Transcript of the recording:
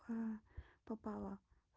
попала